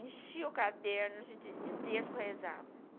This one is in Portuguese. Enchia o caderno de de de terço que eu rezava.